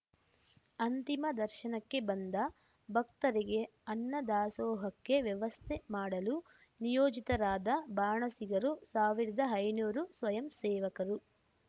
ಅಂತಿಮ ದರ್ಶನಕ್ಕೆ ಬಂದ ಭಕ್ತರಿಗೆ ಅನ್ನ ದಾಸೋಹಕ್ಕೆ ವ್ಯವಸ್ಥೆ ಮಾಡಲು ನಿಯೋಜಿತರಾದ ಬಾಣಸಿಗರು ಸಾವಿರದ ಐನೂರು ಸ್ವಯಂಸೇವಕರು